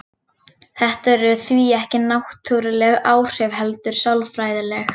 Þetta eru því ekki náttúruleg áhrif heldur sálfræðileg.